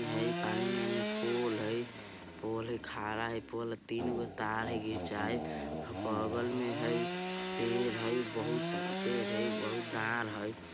इहाँ पानी में पोल हई पोल खड़ा हई पोल तीनगो तार हई खिचाईल बगल में हई पेड़ हई बहुत सारा पेड़ हई बहुत डार हई।